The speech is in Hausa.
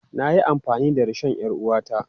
Na yi amfani da rishon 'yar uwata.